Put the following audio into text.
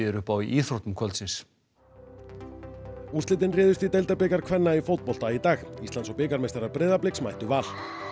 upp á í íþróttum kvöldsins úrslitin réðust í deildarbikar kvenna í fótbolta í dag íslands og bikarmeistarar Breiðabliks mættu Val